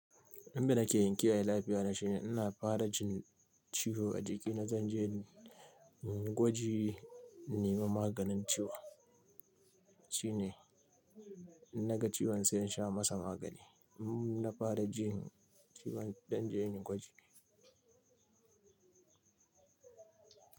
Abin da nake yi inkiyaye lafiya na shine ina fara jin ciwo a jikina, zan je in yi gwaji, in nemi maganin ciwon shine. In na ga ciwon sai in sha masa magani. In na fara jin ciwon zan je in yi gwaji.